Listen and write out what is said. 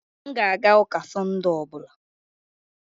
M ga-aga ụka Sund ọ bụla